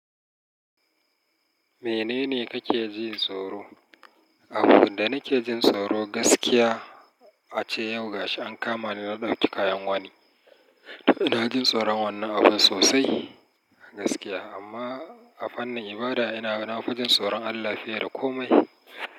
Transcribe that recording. Menene kake jin tsoro? Abin da nake jin tsoro gaskiya ace yau ga shi an kama ni na ɗauki kayan wani. Na jin tsoron wannan abun sosai gaskiya. Amma a fannin ibada ina na fa jin tsoron Allah fiye da kome.